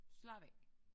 Slap af